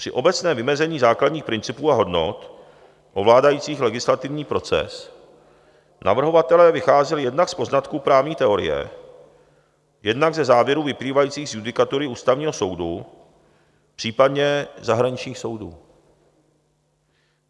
Při obecném vymezení základních principů a hodnot ovládajících legislativní proces navrhovatelé vycházeli jednak z poznatků právní teorie, jednak ze závěrů vyplývajících z judikatury Ústavního soudu, případně zahraničních soudů.